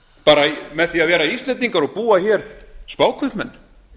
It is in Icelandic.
bara með því að vera íslendingar og búa hér spákaupmenn